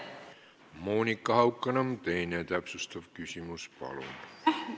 Monika Haukanõmm, teine täpsustav küsimus, palun!